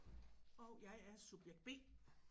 Og jeg er subjekt B